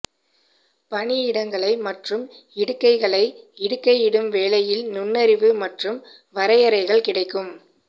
பணியிடங்களை மற்றும் இடுகைகளை இடுகையிடும் வேலையில் நுண்ணறிவு மற்றும் வரையறைகள் கிடைக்கும்